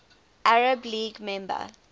arab league member